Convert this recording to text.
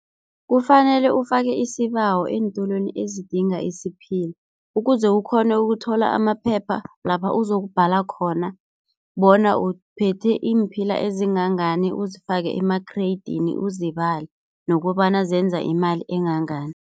Kufanele ufake isibawo eentolweni ezidinga isiphila ukuze, ukghone ukuthola amaphepha lapha uzokubhala khona bona uphethe iimphila ezingangani, uzifake emakhreyidini uzibale nokobana zenza imali engangani.